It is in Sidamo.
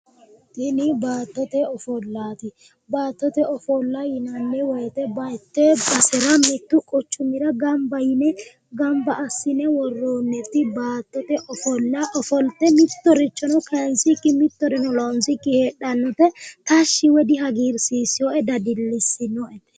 Tini baattote ofolaat baattote ofolla yinanni woyite bayite badera mittu quchumira ganibba yine ganibba assine woroonit baattote ofolla ofolitte mittorichono kayinisikki mittoreno loonissikki heedhanote tashi woyi dihagiriisinoe dadillisinoete